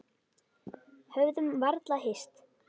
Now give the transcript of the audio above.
Höfðum varla hist.